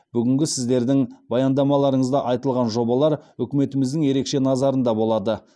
бүгінгі сіздердің баяндамаларыңызда айтылған жобалар үкіметіміздің ерекше назарында болады